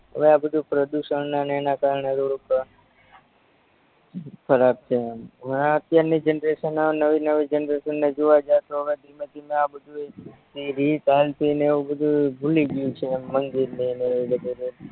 હવે આ બધુય પ્રદુસણનાને એના કારણે હવે અત્યારની જનરેસન નવી નવી જનરેસનને જોવા જાવ તો હવે ધીમે ધીમે આ બધુય જી રીત હાલતીને એવું બધુય ભૂલીગયું છે એમ મંદિરને ને એવું બધુય